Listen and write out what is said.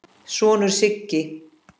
sonur, Siggi.